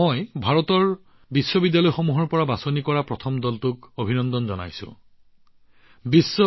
মই ভাৰতৰ বিশ্ববিদ্যালয়ৰ পৰা নিৰ্বাচিত প্ৰথমটো দল আপোনালোকে ভাৰতলৈ সন্মান কঢ়িয়াই আনিছে গতিকে আপোনালোক সকলোকে অভিনন্দন জনাইছো